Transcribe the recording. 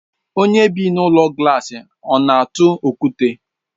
Onye bị n'ụlọ glaasi ọna atụ okwute?